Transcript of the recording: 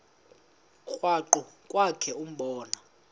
krwaqu kwakhe ubone